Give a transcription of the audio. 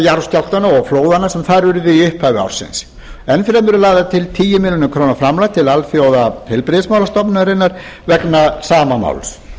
jarðskjálftanna og flóðanna sem þar urðu í upphafi ársins og tíu milljónir króna framlag til alþjóðaheilbrigðismálastofnunarinnar vegna sama máls